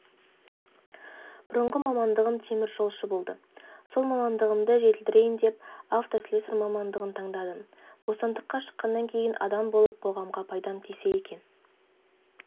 бұрынғы мамандығым темір жолшы болды сол мамандығымды жетілдірейін деп автослесарь мамандығын таңдадым бостандыққа шыққаннан кейін адам болып қоғамға пайдам тисе екен